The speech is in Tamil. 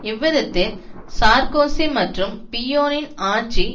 இவ்விதத்தில் சார்க்கோசி மற்றும் பிய்யோனின் ஆட்சி